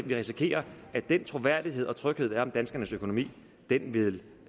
vi risikere at den troværdighed og tryghed der er om danskernes økonomi vil